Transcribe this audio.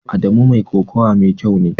Adamu mai kokawa mai kyau ne.